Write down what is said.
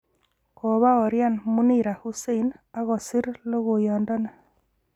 Kobaorian Munira Hussein ak kosir logoiyondoni.